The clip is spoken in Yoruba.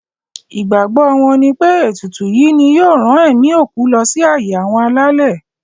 Ìgbàgbọ wọn nipé ètùtù yìí ni yóò rán ẹ̀mí òkú lọ sí ààyè àwọn alálẹ̀.